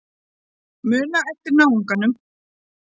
Muna eftir náunganum.